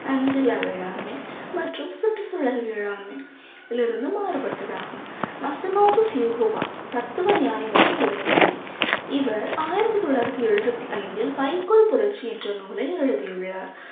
வேளாண்மை மற்றும் சுற்றுச்சூழல் வேளாண்மை இதிலிருந்து மாறுபட்டதாகும் தத்துவ ஞானி மற்றும் விவசாயி இவர் ஆயிரத்தி தொள்ளாயிரத்தி எழுபத்தி ஐந்தில் வைக்கோல் புரட்சி என்ற நூலை எழுதியுள்ளார்